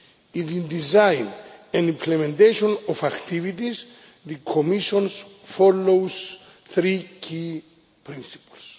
In the design and implementation of activities, the Commission follows three key principles.